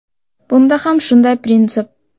Bunda ham shunday prinsip.